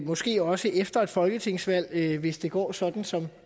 måske også efter et folketingsvalg hvis det går sådan som